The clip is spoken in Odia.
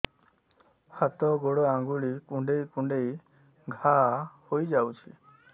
ହାତ ଗୋଡ଼ ଆଂଗୁଳି କୁଂଡେଇ କୁଂଡେଇ ଘାଆ ହୋଇଯାଉଛି